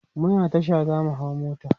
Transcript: muna Tasha zamu hau mota